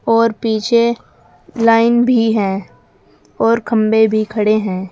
और पीछे लाइन भी है और खंभे भी खड़े हैं।